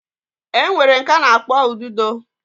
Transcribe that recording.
Enwere nke ana akpo ududo